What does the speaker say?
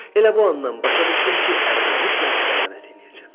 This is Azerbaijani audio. Elə bu andan başa düşdüm ki, ərimə mütləq xəyanət eləyəcəm.